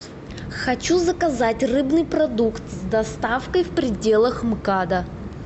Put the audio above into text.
хочу заказать рыбный продукт с доставкой в пределах мкада